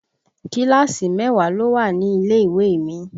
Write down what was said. Kíláàsì mẹ́wàá ló wà ní ilé ìwé mi